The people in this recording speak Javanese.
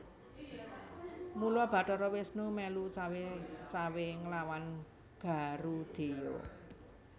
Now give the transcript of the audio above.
Mula Bathara Wisnu mèlu cawé cawé nglawan Garudheya